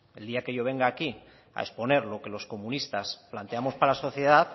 el día que yo venga aquí a exponer lo que los comunistas planteamos para la sociedad